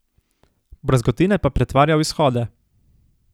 Brazgotine pa pretvarja v izhode.